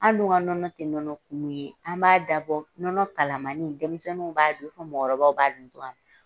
An' dun ka nɔnɔ tɛ nɔnɔ kumu ye. An b'a dabɔ nɔnɔ kalamani, denmisɛnninw b'a dun fɔ mɔgɔkɔrɔbaw b'a dun.